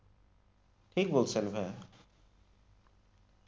ঠিক বলছেন ভাইয়া,